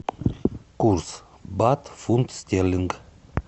курс бат фунт стерлинг